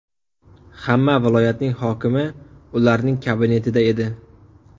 Hamma viloyatning hokimi ularning kabinetida edi.